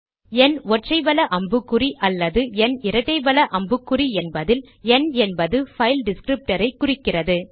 ந் ஒற்றை வல அம்புக்குறி அல்லது ந் இரட்டை வல அம்புக்குறி என்பதில் ந் என்பது பைல் டிஸ்க்ரிப்டர் ஐ குறிக்கிறது